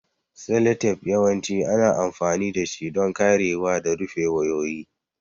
Seletep yawanci ana amfani dashi don karewa da rufe wayoyi.